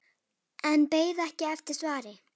En beið ekki eftir svari.